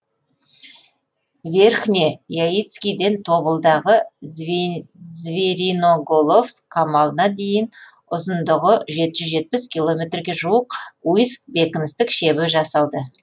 верхне яицкіден тобылдағы звериноголовск қамалына дейін ұзындығы жеті жүз жетпіс километрге жуық уйск бекіністік шебі жасалды